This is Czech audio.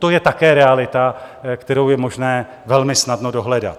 To je také realita, kterou je možné velmi snadno dohledat.